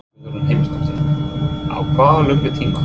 Guðrún Heimisdóttir: Á hvað löngum tíma?